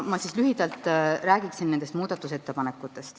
Ma lühidalt räägin nendest.